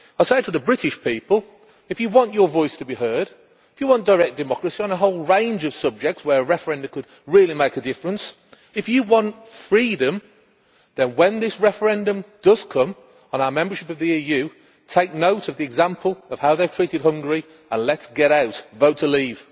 I say to the British people if you want your voice to be heard, if you want direct democracy on a whole range of subjects where referenda could really make a difference, if you want freedom, then when this referendum does come on our membership of the EU, take note of the example of how they have treated Hungary and let us get out vote to leave!